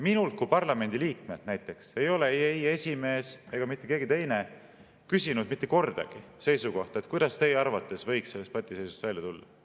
Minult kui parlamendiliikmelt näiteks ei ole ei esimees ega mitte keegi teine küsinud mitte kordagi seisukohta, kuidas minu arvates võiks sellest patiseisust välja tulla.